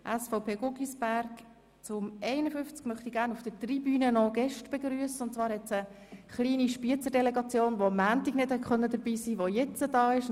Es befindet sich auf der Tribüne eine kleine Delegation aus Spiez, die am Montag nicht dabei sein konnte, aber jetzt bei uns zu Gast ist.